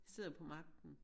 Sidder på magten